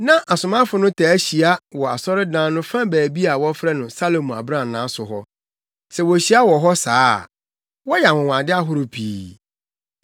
Na asomafo no taa hyia wɔ asɔredan no fa baabi a wɔfrɛ no “Salomo Abrannaa” so hɔ. Sɛ wohyia wɔ hɔ saa a, wɔyɛ anwonwade ahorow pii.